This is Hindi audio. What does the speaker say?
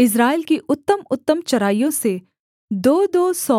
इस्राएल की उत्तमउत्तम चराइयों से दोदो सौ